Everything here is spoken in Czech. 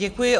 Děkuji.